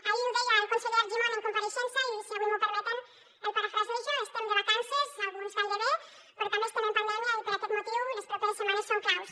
ahir ho deia el conseller argimon en compareixença i si avui m’ho permeten el parafrasejo estem de vacances alguns gairebé però també estem en pandèmia i per aquest motiu les properes setmanes són claus